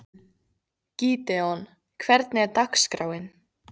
Gídeon, hvernig er dagskráin?